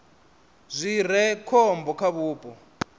zwi re khombo kha vhupo